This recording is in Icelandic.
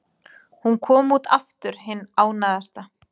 Hún kom út aftur hin ánægðasta.